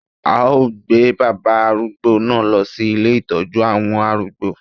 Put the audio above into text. A ó gbé bàbá arúgbó náà lọ sí ilé Ìtọ́jú àwọn arúgbó.